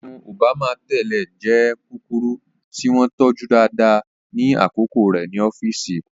Irun Òbámà tẹ́lẹ̀ jẹ́ kúkúrú tí wọ́n tọ́jú dáadáa ní àkókò rẹ̀ ní ọ́fíìsì.